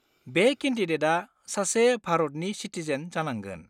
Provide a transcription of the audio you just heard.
बे केन्डिडेटआ सासे भारतनि सिटिजेन जानांगोन।